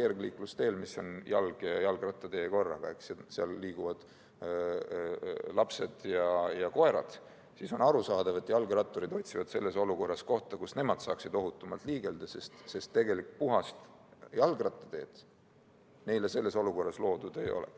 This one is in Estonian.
kergliiklusteel, mis on korraga jalg- ja jalgrattatee – seal liiguvad lapsed ja koerad –, siis on arusaadav, et jalgratturid otsivad selles olukorras kohta, kus nemad saaksid ohutumalt liigelda, sest tegelikult puhast jalgrattateed neile loodud ei ole.